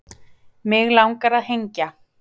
mig langar að hengja